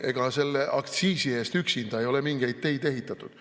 Ega selle aktsiisi eest üksinda ei ole mingeid teid ehitatud.